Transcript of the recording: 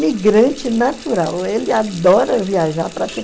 migrante natural, ele adora viajar para